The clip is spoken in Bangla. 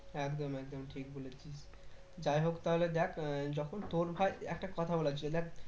একদম একদম ঠিক বলেছিস যাই হোক তাহলে দেখ আহ যখন তোর ভাই একটা কথা বলার ছিল দেখ